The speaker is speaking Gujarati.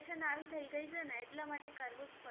generation આવી થઈ ગઈ છે એટલા માટે કરવું જ પડે